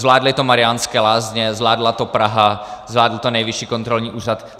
Zvládly to Mariánské Lázně, zvládla to Praha, zvládl to Nejvyšší kontrolní úřad.